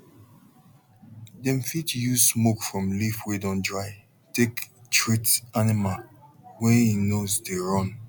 dem fit use smoke from leaf wey don dry take treat animal wey hin nose dey run